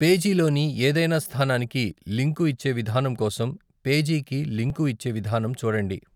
పేజీలోని ఏదైనా స్థానానికి లింకు ఇచ్చే విధానం కోసం పేజీకి లింకు ఇచ్చే విధానం చూడండి.